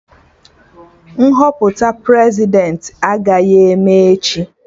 Nhọpụta Prezidentị agaghị eme echi